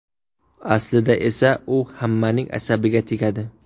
Aslida esa u hammaning asabiga tegadi.